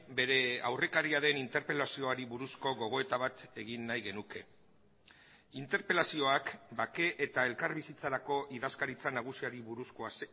bere aurrekaria den interpelazioari buruzko gogoeta bat egin nahi genuke interpelazioak bake eta elkarbizitzarako idazkaritza nagusiari buruzkoa